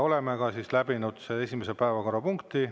Oleme läbinud esimese päevakorrapunkti.